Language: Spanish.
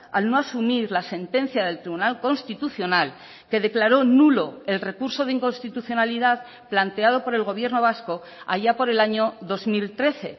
al no asumir la sentencia del tribunal constitucional que declaró nulo el recurso de inconstitucionalidad planteado por el gobierno vasco allá por el año dos mil trece